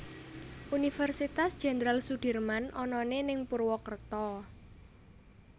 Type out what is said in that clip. Universitas Jendral Sudirman onone ning Purwokerto